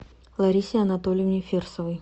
ларисе анатольевне фирсовой